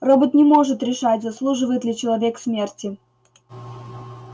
робот не может решать заслуживает ли человек смерти